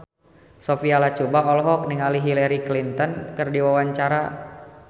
Sophia Latjuba olohok ningali Hillary Clinton keur diwawancara